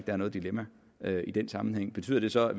er noget dilemma i den sammenhæng betyder det så at